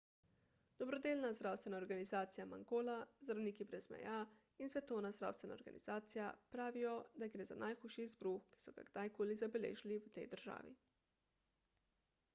dobrodelna zdravstvena organizacija mangola zdravniki brez meja in svetovna zdravstvena organizacija pravijo da gre za najhujši izbruh ki so ga kdajkoli zabeležili v tej državi